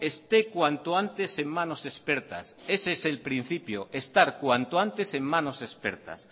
esté cuanto antes en manos expertas ese es el principio estar cuanto antes en manos expertas